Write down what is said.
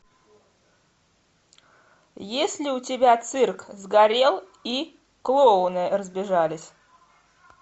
есть ли у тебя цирк сгорел и клоуны разбежались